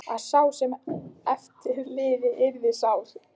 Að sá sem eftir lifði yrði sár.